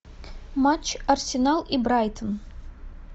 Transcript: матч арсенал и брайтон